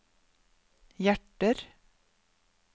hjerter